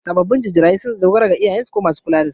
Sabobin jarirai sun dogara ga iyayensu ko mai kulla da su.